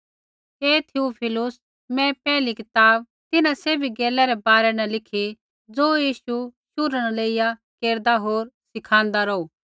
हे Theophilus मैं पैहली कताब तिन्हां सैभी गैलै रै बारै न लिखी ज़ो यीशु शुरू न लेइया केरदा होर सिखाँदा रौहू